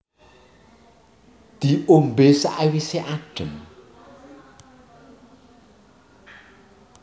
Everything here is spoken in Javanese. Diombé sawisé adem